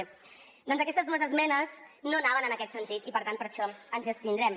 bé doncs aquestes dues esmenes no anaven en aquest sentit i per tant per això ens hi abstindrem